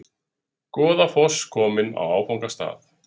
Goðafoss kominn á áfangastað